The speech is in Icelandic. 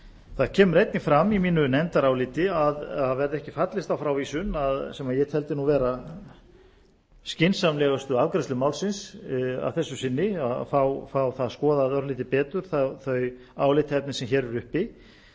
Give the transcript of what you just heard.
það kemur einnig fram í mínu nefndaráliti að verði ekki fallist á frávísun sem ég teldi vera skynsamlegustu afgreiðslu málsins að þessu sinni að fá það skoðað örlítið betur þau álitaefni sem hér eru